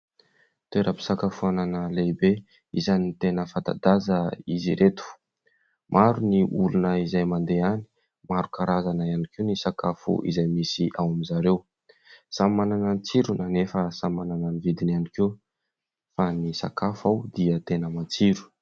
Toeram-pisakafoanana lehibe, isany tena fanta-daza izy reto, maro ny olona izay mandeha any, maro karazana ihany koa ny sakafo izay misy ao amin'izareo, samy manana ny tsirona anefa sany manana ny vidiny ihany koa, fa ny sakafo ao dia tena matsiro.